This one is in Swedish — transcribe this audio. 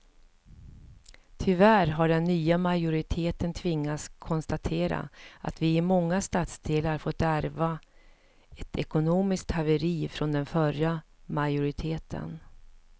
Tyvärr har den nya majoriteten tvingats konstatera att vi i många stadsdelar fått ärva ett ekonomiskt haveri från den förra majoriteten.